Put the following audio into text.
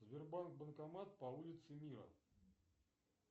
сбербанк банкомат по улице мира